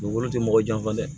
Dugukolo tɛ mɔgɔ janfa dɛ